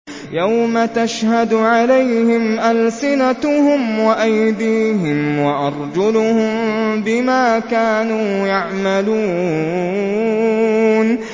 يَوْمَ تَشْهَدُ عَلَيْهِمْ أَلْسِنَتُهُمْ وَأَيْدِيهِمْ وَأَرْجُلُهُم بِمَا كَانُوا يَعْمَلُونَ